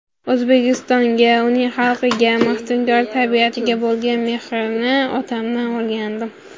O‘zbekistonga, uning xalqiga, maftunkor tabiatiga bo‘lgan mehrni otamdan o‘rgandim.